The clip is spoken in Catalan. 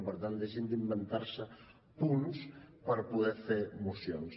per tant deixin d’inventar se punts per poder fer mocions